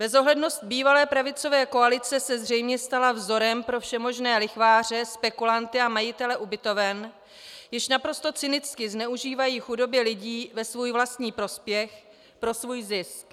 Bezohlednost bývalé pravicové koalice se zřejmě stala vzorem pro všemožné lichváře, spekulanty a majitele ubytoven, již naprosto cynicky zneužívají chudoby lidí ve svůj vlastní prospěch, pro svůj zisk.